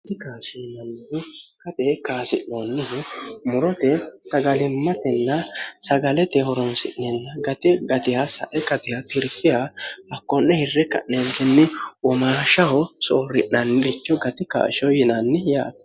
gai kashiyinanni kate kaasi'loollihu murote sagalimmatenna sagalete horonsi'ninna gati gatiha sae gatiha tirfiya hakko'ne hirre ka'neentinni womaashaho soorri'nanniricho gati kaashoh yinanni yaate